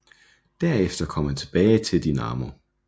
Herefter kom han tilbage til Dinamo